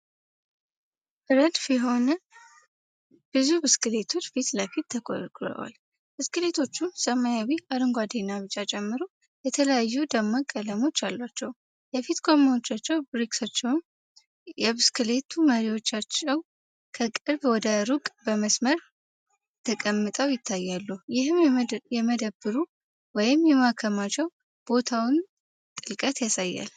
ረድፍ የሆኑ ብዙ ብስክሌቶች ፊት ለፊት ተኮርኩረዋል። ብስክሌቶቹ ሰማያዊ፣ አረንጓዴ እና ቢጫን ጨምሮ የተለያዩ ደማቅ ቀለሞች አሏቸው። የፊት ጎማዎቻቸው፣ ብሬክሶቻቸውና የብስክሌት መሪዎቻቸው ከቅርብ ወደ ሩቅ በመስመር ተቀምጠው ይታያሉ፤ ይህም የመደብሩን ወይም የማከማቻ ቦታውን ጥልቀት ያሳያል።